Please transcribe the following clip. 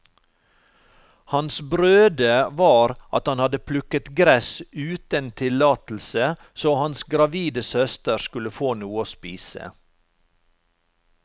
Hans brøde var at han hadde plukket gress uten tillatelse så hans gravide søster skulle få noe å spise.